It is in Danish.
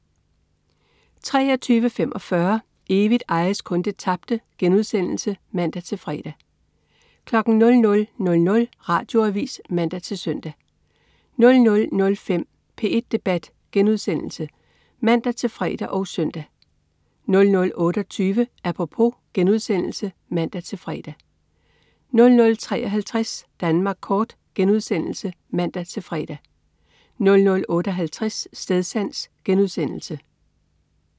23.45 Evigt ejes kun det tabte* (man-fre) 00.00 Radioavis (man-søn) 00.05 P1 Debat* (man-fre og søn) 00.28 Apropos* (man-fre) 00.53 Danmark kort* (man-fre) 00.58 Stedsans*